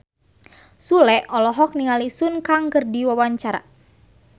Sule olohok ningali Sun Kang keur diwawancara